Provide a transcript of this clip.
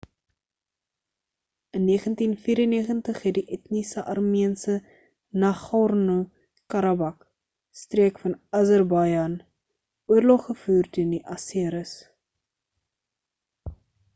in 1994 het die etniese armeense nagorno-karabakh streek van azerbaijan oorlog gevoer teen die aseris